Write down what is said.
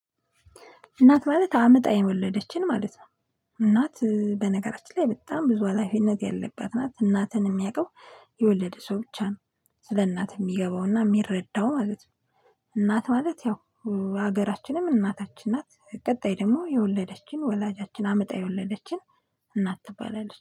እናት ማለት አምጣ የወለደችን ማለት ነው። እናት በነገራችን ላይ በጣም ብዙ ሀላፊነት ያለባት እናት እናትን የሚያውቀው የወለደ ሰው ብቻ ነው ስለ እናት የሚገባውና የሚረዳው ማለት ነው። እናት ማለት ያው ሀገራችንም እናታችን ናት ቀጣይ ደግሞ የወለደችን ወላጃችን አምጣ የወለደችን እናት ትባላለች።